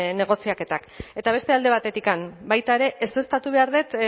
negoziaketak eta beste alde batetik baita ere ezeztatu behar dut